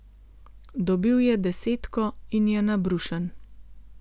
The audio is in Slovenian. Dobil je desetko in je nabrušen.